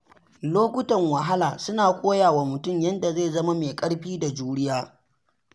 Lokutan wahala suna koya wa mutum yadda zai zama mai ƙarfi da juriya.